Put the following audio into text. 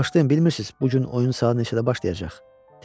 Bağışlayın, bilmirsiniz bu gün oyun saat neçədə başlayacaq?